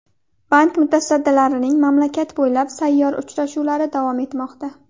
Bank mutasaddilarining mamlakat bo‘ylab sayyor uchrashuvlari davom etmoqda.